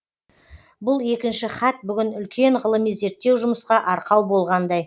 бұл екінші хат бүгін үлкен ғылыми зерттеу жұмысқа арқау болғандай